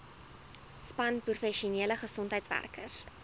span professionele gesondheidswerkers